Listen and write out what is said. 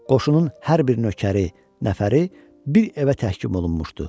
Qoşunun hər bir nökəri, nəfəri bir evə təhkim olunmuşdu.